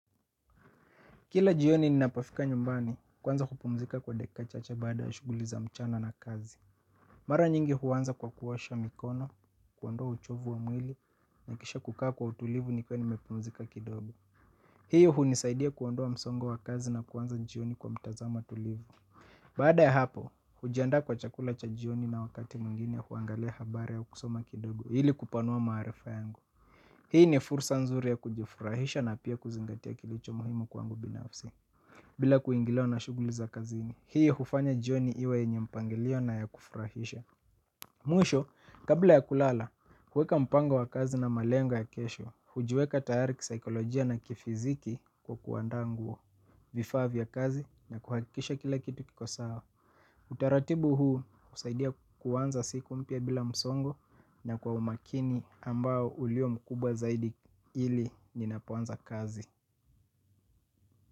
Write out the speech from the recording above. Kila jioni ninapafika nyumbani kuanza kupumzika kwa dekika chache baada ya shughuli za mchana na kazi. Mara nyingi huanza kwa kuosha mikono kuondua uchovu wa mwili na kisha kukaa kwa utulivu nikiwa nimepumzika kidogo. Hiyo hunisaidia kuondoa msongo wa kazi na kuanza jioni kwa mtazamo tulivu. Baada ya hapo, hujiandaa kwa chakula cha jioni na wakati mwingine huangalia habari au kusoma kidogo ili kupanua maarifa yangu. Hii ni fursa nzuri ya kujifurahisha na pia kuzingatia kilicho muhimu kwangu binafsi. Bila kuingiliwa na shughuli za kazini hii hufanya jioni iwe yenye mpangilio na ya kufurahisha. Mwisho, kabla ya kulala kuweka mpango wa kazi na malengo ya kesho. Kujiweka tayari kisaikolojia na kifiziki kwa kuandanguo vifaa vya kazi na kuhakisha kila kitu kiko sawa. Utaratibu huu husaidia kuanza siku mpya bila msongo. Na kwa umakini ambao uliyo mkubwa zaidi ili ninapoanza kazi.